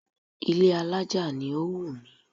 Ilé alájà ni ó wù mí